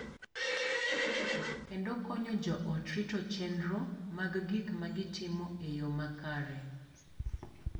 Kendo konyo joot rito chenro mag gik ma gitimo e yoo makare.